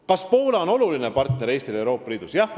Kas Poola on Eesti oluline partner Euroopa Liidus?